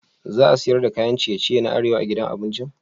Za a siyar da kayan ciye-ciye na arewa a gidan abincin?